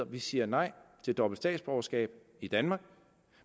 vi siger nej til dobbelt statsborgerskab i danmark